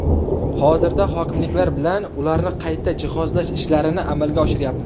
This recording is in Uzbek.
Hozirda hokimliklar bilan ularni qayta jihozlash ishlarini amalga oshiryapmiz.